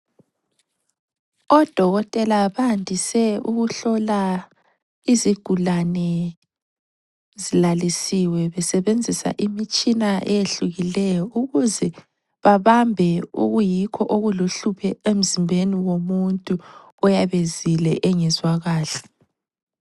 Odokotela bandise ukuhlola izigulane zilalisiwe besebenzisa imitshina eyehlukileyo ukuze babambe okuyikho okuluhlupho emzimbeni womuntu oyabe ezile engezwa kahle.